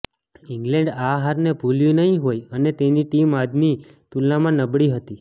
England આ હારને ભૂલ્યું નહીં હોય અને તેની ટીમ આજની તુલનામાં નબળી હતી